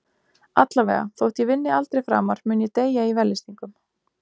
Allavega, þótt ég vinni aldrei framar mun ég deyja í vellystingum.